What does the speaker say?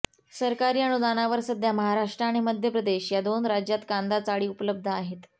सरकारी अनुदानावर सध्या महाराष्ट्र आणि मध्य प्रदेश या दोन राज्यात कांदा चाळी उपलब्ध आहेत